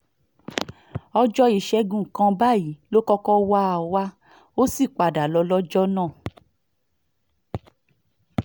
ọjọ́ ìṣègùn kan báyìí ló kọ́kọ́ wá ọ wá ó sì padà lọ lọ́jọ́ náà